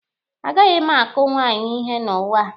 A gaghị m akụ nwaanyị ihe n'ụwa a.